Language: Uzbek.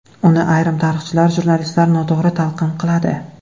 Uni ayrim tarixchilar, jurnalistlar noto‘g‘ri talqin qiladi.